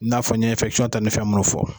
N'a fɔ ni tɛ ne fɛn mun fɔ.